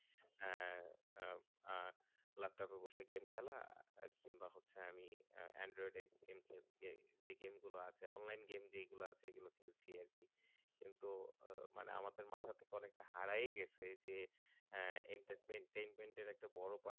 game খেলা কিংবা হচ্ছে আমি android এ যে game আছে online game যেগুলো আছে সেগুলো খেলছি আরকি তো আমাদের মাথা থেকে অনেক টা হারায় ঠিক আছে এইযে entertainment একটা বড়ো part